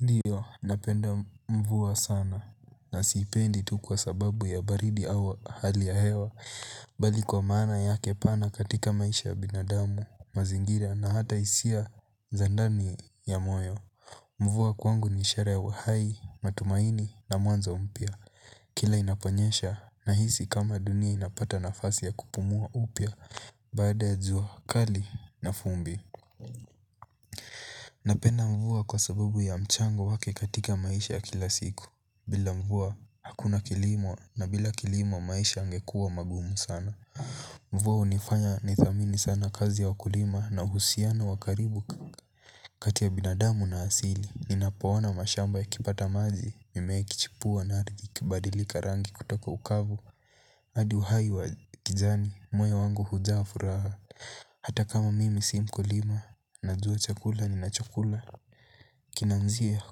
Ndio, napenda mvua sana na sipendi tu kwa sababu ya baridi au hali ya hewa. Bali kwa maana yake pana katika maisha ya binadamu, mazingira na hata hisia za ndani ya moyo. Mvua kwangu ni ishara ya uhai, matumaini na mwanzo mpya. Kila inaponyesha, nahisi kama dunia inapata nafasi ya kupumua upya. Baada ya jua, kali na vumbi. Napenda mvua kwa sababu ya mchango wake katika maisha ya kila siku. Bila mvua hakuna kilimo na bila kilimo maisha yangekuwa magumu sana. Mvua hunifanya nithamini sana kazi ya wakulima na uhusiano wa karibu kati ya binadamu na asili, ninapoona mashamba yakipata maji, mimea ikichipua na ardhi ikibadilika rangi kutoko ukavu hadi uhai wa kijani, moyi wangu hujaa furaha. Hata kama mimi si mkulima, najua chakula ninachokula. Kinaanzia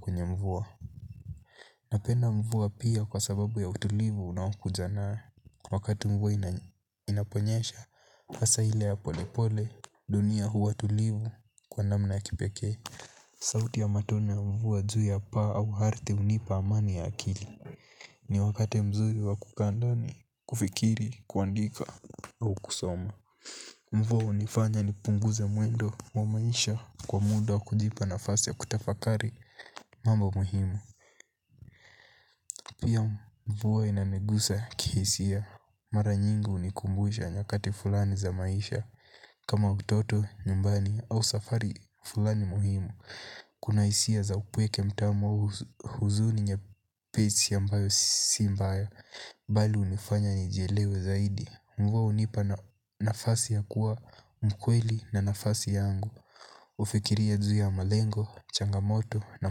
kwenye mvua. Napenda mvua pia kwa sababu ya utulivu unaokuja nayo. Wakati mvua inaponyesha, hasa ile ya pole pole, dunia huwa tulivu kwa namna ya kipekee. Sauti ya matone ya mvua juu ya paa au ardhi hunipa amani ya akili. Ni wakati mzuri wa kukaa ndani, kufikiri, kuandika au kusoma. Mvua hunifanya nipunguze mwendo wa maisha kwa muda kujipa nafasi ya kutafakari mambo muhimu. Pia, mvua inanigusa kihisia. Mara nyingi hunikumbusha nyakati fulani za maisha. Kama utoto, nyumbani au safari fulani muhimu. Kuna hisia za upweke mwepesi au huzuni nyepesi ambayo si mbaya. Bali hunifanya nijielewe zaidi. Mvua hunipa nafasi ya kuwa mkweli na nafasi yangu. Hufikiria juu ya malengo, changamoto na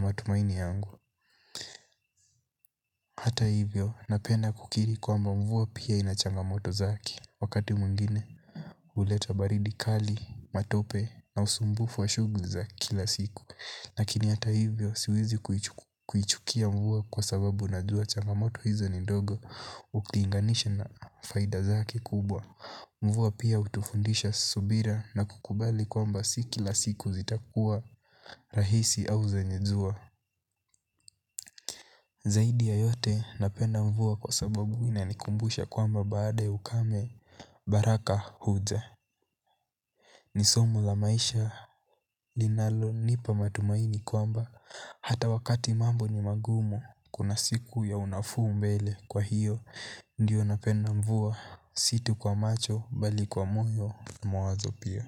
matumaini yangu. Hata hivyo, napenda kukiri kwamba mvua pia ina changamoto zake. Wakati mwngine, huleta baridi kali, matope na usumbufu wa shughuli za kila siku. Lakini hata hivyo, siwezi kuichukia mvua kwa sababu najua changamoto hizo ni dogo. Ukilinganisha na faida zake kubwa. Mvua pia hutufundisha subira na kukubali kwamba si kila siku zitakuwa rahisi au zenye zaidi ya yote, napenda mvua kwa sababu inanikumbusha kwamba baada ukame, baraka huja. Ni somo la maisha linalonipa matumaini kwamba hata wakati mambo ni magumu kuna siku ya unafuu mbele. Kwa hiyo, ndio napenda mvua si tu kwa macho bali kwa moyo na mawazo pia.